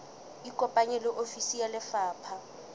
ikopanye le ofisi ya lefapha